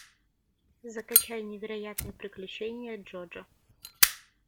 закачай невероятные приключения джоджо